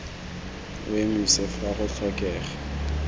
o emise fa go tlhokega